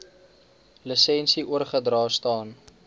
lisensie oorgedra staan